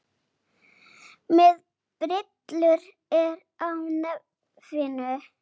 Með brillur er á nefinu.